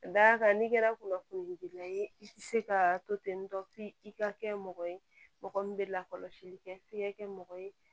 Ka da kan n'i kɛra kunnafonidilan ye i tɛ se ka to ten tɔ i ka kɛ mɔgɔ ye mɔgɔ min bɛ lakɔlɔsili kɛ f'i ka kɛ mɔgɔ ye